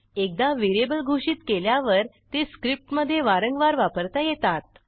एकदा व्हेरिएबल घोषित केल्यावर ते स्क्रिप्टमधे वारंवार वापरता येतात